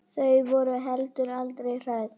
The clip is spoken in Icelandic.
Ég borga.